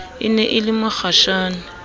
e ne e le mokgashane